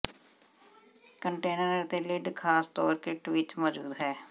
container ਅਤੇ lid ਖਾਸ ਤੌਰ ਕਿੱਟ ਵਿੱਚ ਮੌਜੂਦ ਹੈ